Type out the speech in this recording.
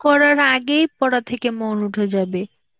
করার আগেই পড়া থেকে মন উঠে যাবে.